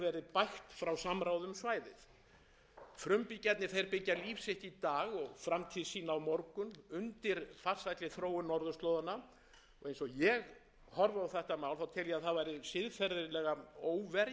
samtökum frumbyggja hefur verið bægt frá samráði um svæðið frumbyggjarnir byggja líf sitt í dag og framtíð sína á morgun undir farsælli þróun norðurslóðanna og eins og ég horfi á þetta mál tel ég að það væri siðferðilega óverjandi